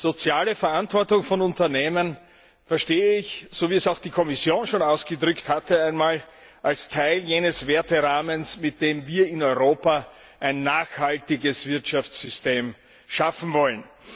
Soziale Verantwortung von Unternehmen verstehe ich, wie es auch die Kommission schon einmal ausgedrückt hatte, als Teil jenes Werterahmens, mit dem wir in Europa ein nachhaltiges Wirtschaftssystem schaffen wollen.